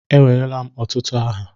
Enweela m ọtụtụ aha.